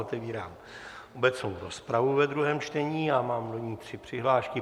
Otevírám obecnou rozpravu ve druhém čtení a mám do ní tři přihlášky.